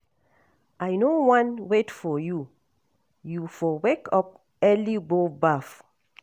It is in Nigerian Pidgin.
I no wan wait for you, you for wake up early go baff.